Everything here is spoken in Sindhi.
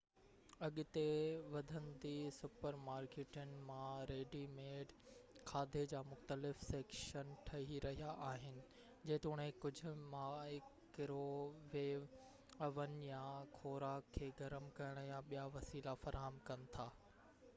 اڳتي وڌندي سپر مارڪيٽن مان ريڊي-ميڊ کاڌي جا مختلف سيڪشن ٺهي رهيا آهن جيتوڻيڪ ڪجهه مائڪرو ويوو اوون يا خوراڪ کي گرم ڪرڻ جا ٻيا وسيلا فراهم ڪن ٿا